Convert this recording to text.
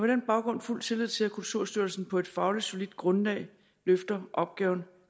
den baggrund fuld tillid til at kulturstyrelsen på et fagligt solidt grundlag løfter opgaven